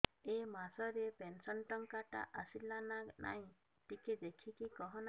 ଏ ମାସ ରେ ପେନସନ ଟଙ୍କା ଟା ଆସଲା ନା ନାଇଁ ଟିକେ ଦେଖିକି କହନା